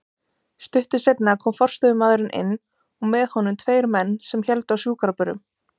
Stuttu seinna kom forstöðumaðurinn inn og með honum tveir menn sem héldu á sjúkrabörum.